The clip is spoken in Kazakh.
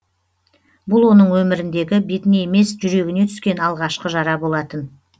бұл оның өміріндегі бетіне емес жүрегіне түскен алғашқы жара болатын